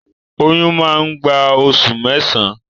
Oyún má gbà oṣù mẹsan.